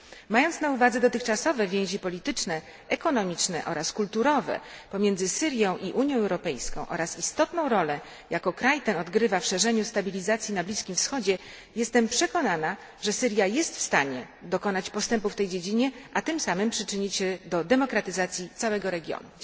Mając na uwadze dotychczasowe więzi polityczne, ekonomiczne oraz kulturowe pomiędzy Syrią i Unią Europejską oraz istotną rolę, jaką kraj ten odgrywa w szerzeniu stabilizacji na Bliskim Wschodzie, jestem przekonana, że Syria jest w stanie dokonać postępu w tej dziedzinie, a tym samym przyczynić się do demokratyzacji całego regionu.